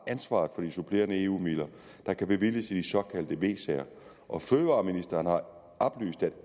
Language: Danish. ansvaret for de supplerende eu midler der kan bevilges i de såkaldte v sager og fødevareministeren har oplyst at